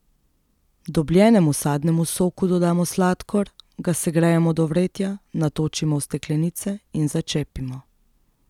Dobljenemu sadnemu soku dodamo sladkor, ga segrejemo do vretja, natočimo v steklenice in začepimo.